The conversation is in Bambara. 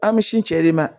An bɛ sin cɛ de ma